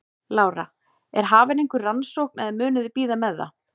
Lára: Er hafin einhver rannsókn eða munuð þið bíða með það?